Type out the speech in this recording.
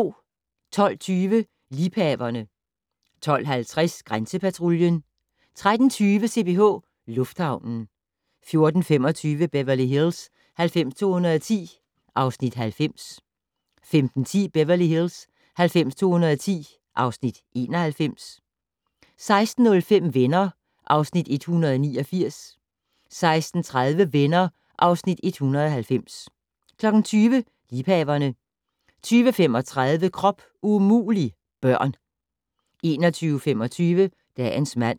12:20: Liebhaverne 12:50: Grænsepatruljen 13:20: CPH Lufthavnen 14:25: Beverly Hills 90210 (Afs. 90) 15:10: Beverly Hills 90210 (Afs. 91) 16:05: Venner (Afs. 189) 16:30: Venner (Afs. 190) 20:00: Liebhaverne 20:35: Krop umulig - børn 21:25: Dagens mand